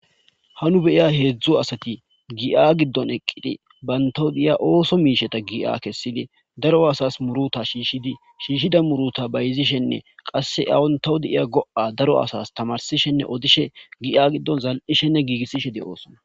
ha nu beya heedzdzu asati gi7a giddon eqqidi bayntawu deiya ooso miisheta gi7a kessidi daro asas muruta shiishshidi shiishshida muruta bayzishenne qasse awontawu deiya go7a daro asas tamarsishenne odishe gi7a giddon zal7ishenne giigissishe doosona.